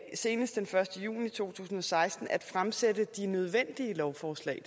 senest den første juni to tusind og seksten at fremsætte de nødvendige lovforslag